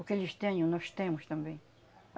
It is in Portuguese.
O que eles tenham, nós temos também.